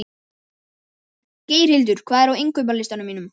Geirhildur, hvað er á innkaupalistanum mínum?